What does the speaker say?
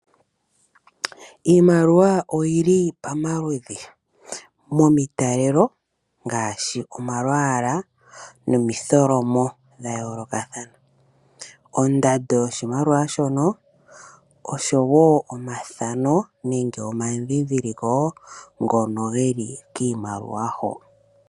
Iimaliwa oyi li pamamudhi momitalelo ngaashi omalwaala nomitholomo dhayoolokathana. Ondando yoshimaliwa shono oshowo omathano omadhindhiliko ngono ge li kiimaliwa ho.